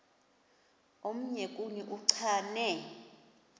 omnye kuni uchane